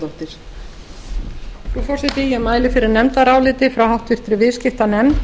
frú forseti ég mæli fyrir nefndaráliti frá háttvirtri viðskiptanefnd